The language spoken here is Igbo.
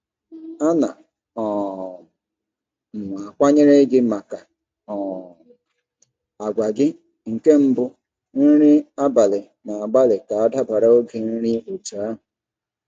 A na um m akwanyere gi maka um àgwà gị nke mbụ nri abalị na-agbalị ka dabara oge nri otú ahụ.